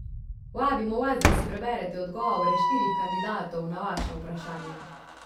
Vabimo vas, da si preberete odgovore štirih kandidatov na vaša vprašanja.